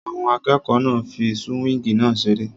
Àwọn akẹ́kọ̀ọ́ náà ń fí súwíngì náà seré